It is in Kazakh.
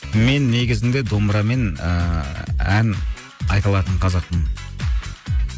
мен негізінде домбырамен ыыы ән айта алатын қазақпын